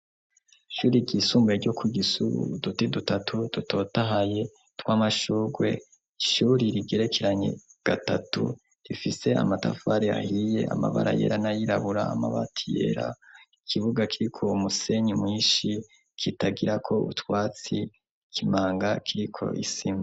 Ishure ryisumbuye ryo ku Gisuru, uduti dutatu dutotahaye tw'amashurwe, ishure rigerekeranye gatatu rifise amatafari ahiye amabara yera n'ayirabura amabati yera, ikibuga kiriko umusenyi mwinshi kitagirako utwatsi, ikimanga kiriko isima.